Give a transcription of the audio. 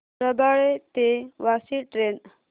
रबाळे ते वाशी ट्रेन